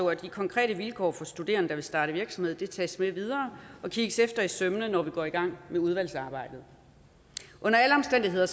at de konkrete vilkår for studerende der vil starte virksomhed tages med videre og kigges efter i sømmene når vi går i gang med udvalgsarbejdet under alle omstændigheder